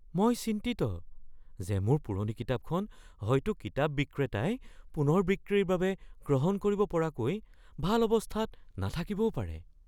মই চিন্তিত যে মোৰ পুৰণি কিতাপখন হয়তো কিতাপ বিক্ৰেতাই পুনৰ বিক্ৰীৰ বাবে গ্ৰহণ কৰিব পৰাকৈ ভাল অৱস্থাত নাথাকিব পাৰে।